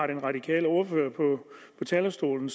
den radikale ordfører på talerstolen